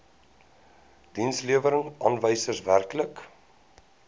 dienslewerings aanwysers werklike